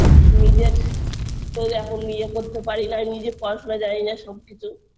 নিজের তো এখন নিজে করতে পারি না নিজে পড়াশোনা জানিনা সবকিছু